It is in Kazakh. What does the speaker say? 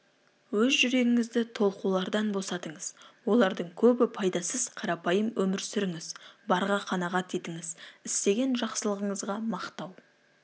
өз жүрегіңізді толқулардан босатыңыз олардың көбі пайдасыз қарапайым өмір сүріңіз барға қанағат етіңіз істеген жақсылығыңызға мақтау